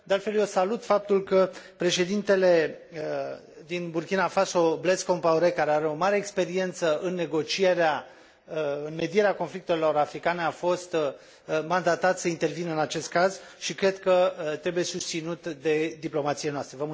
De altfel, eu salut faptul că președintele din Burkina Faso, Blaise Compaoré, care are o mare experiență în negocierea, în medierea conflictelor africane, a fost mandatat să intervină în acest caz și cred că trebuie susținut de diplomațiile noastre.